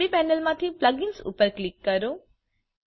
ડાબી પેનલમાંથી plug ins ઉપર ક્લિક કરો